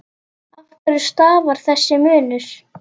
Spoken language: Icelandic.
Af hverju stafar þessi munur?